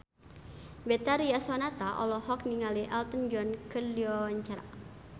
Betharia Sonata olohok ningali Elton John keur diwawancara